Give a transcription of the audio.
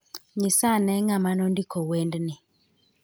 Nyisa ane ng'ama nondiko wendni